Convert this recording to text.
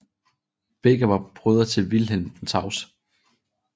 Begge var brødre til Vilhelm den Tavse